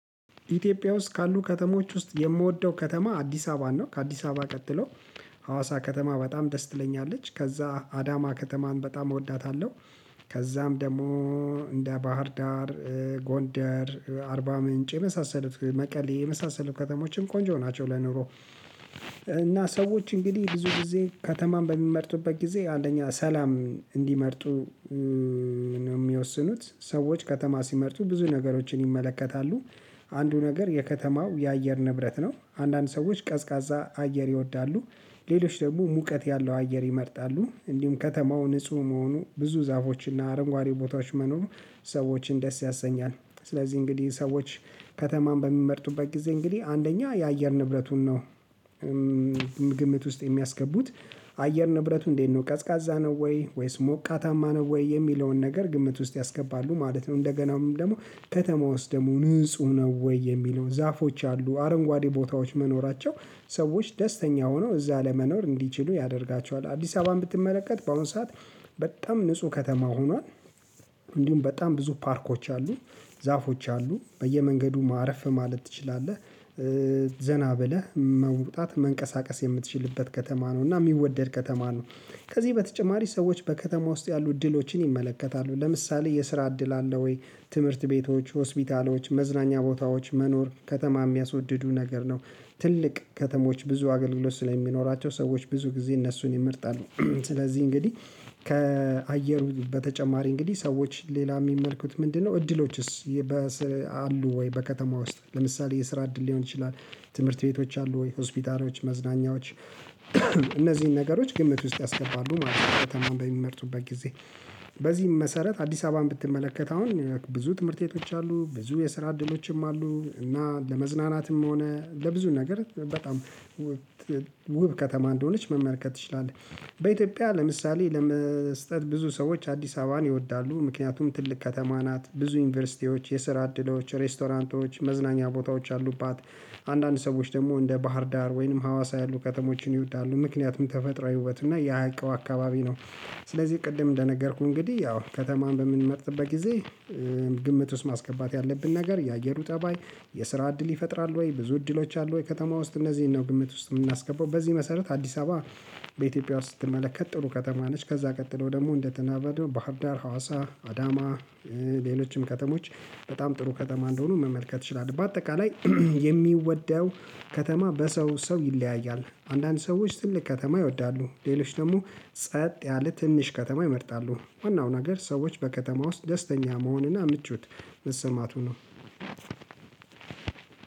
ኢትዮጵያ ውስጥ ካሉ ከተሞች ውስጥ የምወደው ከተማ አዲስ አባ ነው ከአዲስ አባ ቀጥሎ ሀዋሳ ከተማ በጣም ደስ ትለኛለች ከዛ አዳማ ከተማን በጣም እወዳታለው። ከዛም ደሞ እንደ ባህር ዳር ጎንደር አርባ ምንጭ የመሳሰሉት መቀሌ የመሳሰሉት ከተሞችም ቆንጆ ናቸው። ለኑሮ እና ሰዎች እንግዲ ብዙ ጊዜ ከተማን በሚመርጡበት ጊዜ አንደኛ ሰላም እንዲመርጡ ነው ሚወስኑት ሰዎች ከተማ ሲመርጡ ብዙ ነገሮችን ይመለከታሉ። አንዱ ነገር የከተማው የአየር ንብረት ነው። አንዳንድ ሰዎች ቀዝቃዛ አየር ይወዳሉ። ሌሎች ደሞ ሙቀት ያለው አየር ይመርጣሉ እንዲውም ከተማው ንጹ መሆኑ ብዙ ዛፎችና አረንጓዴ ቦታዎች መኖሩ ሰዎችን ደስ ያሰኛል። ስለዚ እንግዲ ሰዎች ከተማን በሚመርጡበት ጊዜ እንግዴ አንደኛ የአየር ንብረቱን ነው። ግምት ውስጥ የሚያስገቡት አየር ንብረቱ እንዴት ነው ቀዝቃዛ ነው ወይ ወይስ ሞቃታማ ነው ወይ የሚለውን ነገር ግምት ውስጥ ያስገባሉ ማለት ነው። እንደገናም ደሞ ከተማ ውስጥ ደሞ ንጹ ነው ወይ የሚለው ዛፎች አሉ አረንጓዴ ቦታዎች መኖራቸው ሰዎች ደስተኛ ሆነው እዛ ለመኖር እንዲችሉ ያደርጋቸዋል። አዲስ አባን ብትመለከት በአሁን ሰዓት በጣም ንጹ ከተማ ሆኗል። እንዲውም በጣም ብዙ ፓርኮች አሉ ዛፎች አሉ በየመንገዱም አረፍ ማለት ትችላለህ። ዘና ብለህ መውጣት መንቀሳቀስ የምትችልበት ከተማ ነው እና ሚወደድ ከተማ ነው። ከዚ በተጨማሪ ሰዎች በከተማ ውስጥ ያሉ እድሎችን ይመለከታሉ ለምሳሌ የስራ እድል አለ ወይ ትምህርት ቤቶች ሆስፒታሎች መዝናኛ ቦታዎች መኖር ከተማ ሚያስወድዱ ነገር ነው። ትልቅ ከተሞች ብዙ አገልግሎት ስለሚኖራቸው ሰዎች ብዙ ጊዜ እነሱን ይመርጣሉ። ስለዚ እንግዲህ ከአየሩ በተጨማሪ እንግዲ ሰዎች ሌላ ሚመለከቱት ምንድነው? እድሎችስ አሉ ወይ በከተማ ውስጥ ለምሳሌ የስራ እድል ሊሆን ይችላል። ትምህርት ቤቶች አሉ ወይ ሆስፒታሎች መዝናኛዎች? እነዚን ነገሮች ግምት ውስጥ ያስገባሉ ማለት ነው። ከተማን በሚመርጡበት ጊዜ በዚ መሰረት አዲስ አባን ብትመለከት አሁን ብዙ ትምህርት ቤቶች አሉ ብዙ የስራ እድሎችም አሉ እና ለመዝናናትም ሆነ ለብዙ ነገር በጣም። ውብ ከተማ እንደሆነች መመልከት ትችላለህ። በኢትዮጵያ ለምሳሌ ለመስጠት ብዙ ሰዎች አዲስ አበባን ይወዳሉ ምክንያቱም ትልቅ ከተማ ናት ብዙ ዩኒቨርሲቲዎች የስራ እድሎች ሬስቶራንቶች መዝናኛ ቦታዎች አሉባት። አንዳንድ ሰዎች ደሞ እንደ ባህር ዳር ወይንም ሀዋሳ ያሉ ከተሞችን ይወዳሉ ምክንያቱም ተፈጥሯዊ ውበት እና የሀይቅ ውሃ አካባቢ ነው። ስለዚ ቅድም እንደነገርኩህ እንግዲ ያው ከተማን በምንመርጥበት ጊዜ ግምት ውስጥ ማስገባት ያለብን ነገር የአየሩ ጠባይ። የስራ እድል ይፈጥራል ወይ ብዙ እድሎች አሉ ወይ ከተማ ውስጥ እነዚን ነው ግምት ውስጥ ምናስገባው በዚ መሰረት አዲስ አባ። በኢትዮጵያ ውስጥ ስትመለከት ጥሩ ከተማ ነች። ከዛ ቀጥሎ ደሞ እንደተናበደው ባህርዳር ሀዋሳ አዳማ ሌሎችም ከተሞች። በጣም ጥሩ ከተማ እንደሆኑ መመልከት ትችላለህ። በአጠቃላይ የሚወደው ከተማ በሰው ሰው ይለያያል አንዳንድ ሰዎች ትልቅ ከተማ ይወዳሉ ሌሎች ደሞ ጸጥ ያለ ትንሽ ከተማ ይመርጣሉ ዋናው ነገር ሰዎች በከተማ ውስጥ ደስተኛ መሆንና ምቾት መሰማቱ ነው።